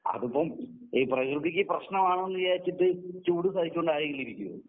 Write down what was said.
അതിപ്പം ഈ പ്രകൃതിക്ക് പ്രശ്നമാണെന്ന് വിചാരിച്ചിട്ട് ചൂട് സഹിച്ചുകൊണ്ട് ആരെങ്കിലുമിരിക്കുമോ?